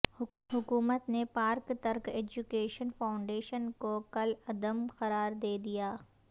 حکومت نے Pak Turk Education Foundation کوکالعدم قرار دے دیا